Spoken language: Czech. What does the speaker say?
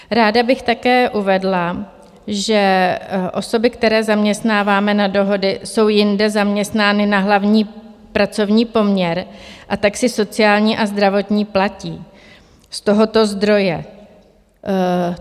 Ráda bych také uvedla, že osoby, které zaměstnáváme na dohody, jsou jinde zaměstnány na hlavní pracovní poměr, a tak si sociální a zdravotní platí z tohoto zdroje.